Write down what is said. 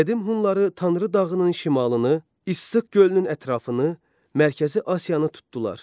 Qədim Hunları Tanrı dağının şimalını, İssıq gölünün ətrafını, Mərkəzi Asiyanı tutdular.